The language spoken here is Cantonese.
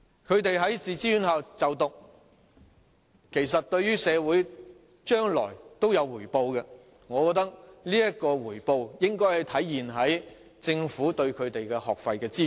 他們在自資院校就讀，將來對社會亦會有所回報，故此，我認為政府亦應該為他們提供學費資助。